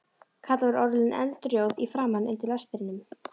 Kata var orðin eldrjóð í framan undir lestrinum.